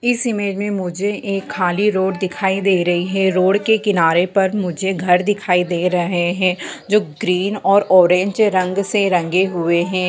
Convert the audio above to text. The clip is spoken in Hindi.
इस इमेज मे मुझे एक खली रोड दिखाई दे रही है रोड के किनारे पर मुझे घर दिखाई दे रहे है जो ग्रीन और ऑरेंज रंग से रंगे हुए हैं।